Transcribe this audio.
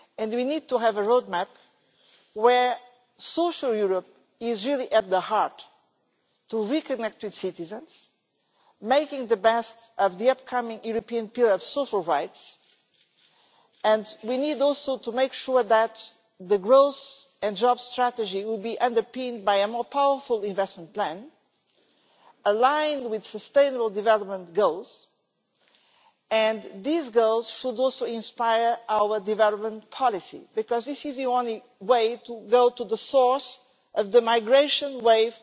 We need to have a road map where social Europe is really at the heart to reconnect with citizens, making the best of the upcoming European pillar of social rights, and we need also to make sure that the growth and jobs strategy will be underpinned by a more powerful investment plan, aligned with sustainable development goals, and these goals should also inspire our development policy because this is the only way to go to the source of the oncoming migration wave.